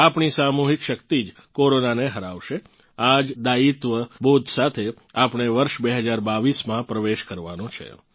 આપણી સામૂહિક શક્તિ જ કોરોનાને હરાવશે આ જ દાયિત્વ બોધ સાથે આપણે વર્ષ 2022 માં પ્રવેશ કરવાનો છે